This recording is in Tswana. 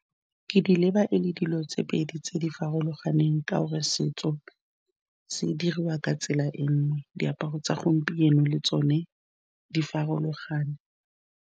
Ke di leba e le dilo tse pedi tse di farologaneng ka gore setso se diriwa ka tsela e nngwe, diaparo tsa gompieno le tsone di farologane.